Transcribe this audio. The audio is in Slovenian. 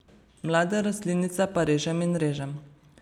Mlade rastlinice pa režem in režem.